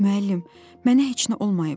"Müəllim, mənə heç nə olmayıb.